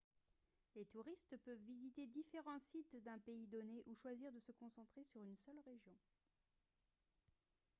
les touristes peuvent visiter différents sites d'un pays donné ou choisir de se concentrer sur une seule région